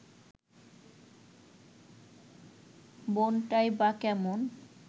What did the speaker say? বোনটাই বা কেমন